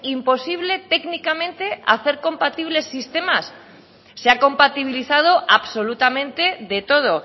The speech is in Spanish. imposible técnicamente hacer compatibles sistemas se ha compatibilizado absolutamente de todo